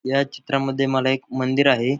ह्या चित्रा मध्ये मला एक मंदिर आहे.